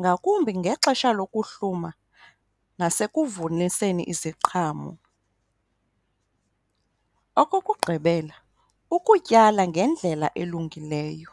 ngakumbi ngexesha lokuhluma nasekuvuniseni iziqhamo. Okokugqibela, ukutyala ngendlela elungileyo.